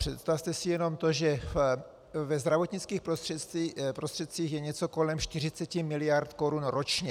Představte si jenom to, že ve zdravotnických prostředcích je něco kolem 40 mld. korun ročně.